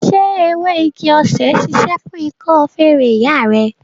Ṣé ewé igi-osè ṣíṣe fún ikọ́ feré ìyá rẹ?